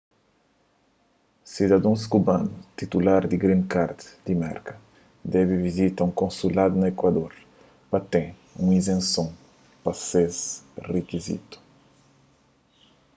sidadons kubanus titutar di green card di merka debe vizita un konsuladu na ekuador pa ten un izenson pa es rikizitu